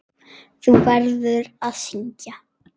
Þú verður að syngja.